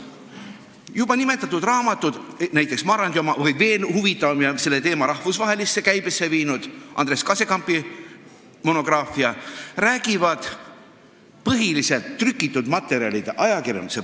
Juba nimetatud raamatud, näiteks Marandi oma ning veel huvitavam ja selle teema rahvusvahelisse käibesse viinud Andres Kasekampi monograafia, tuginevad põhiliselt trükitud materjalile, ajakirjandusele.